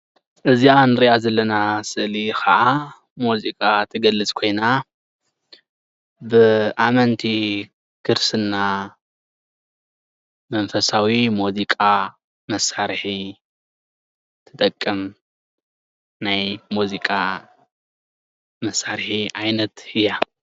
እዚኣ እንሪኣ ዘለና ስእሊ ከዓ ሙዚቃ ትገልፅ ኮይና ብኣመንቲ ክርስትና መንፈሳዊ ሙዚቃ መሳርሒ ትጠቅም ናይ ሙዚቃ መሳርሒ ዓይነት እያ፡፡